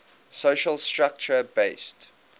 social structure based